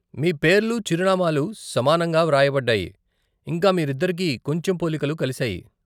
మీ పేర్లు, చిరునామాలు సమానంగా వ్రాయబడ్డాయి, ఇంకా మీరిద్దరికి కొంచెం పోలికలు కలిశాయి.